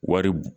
Wari